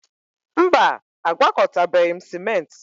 Mba, agwakọtabeghị m ciment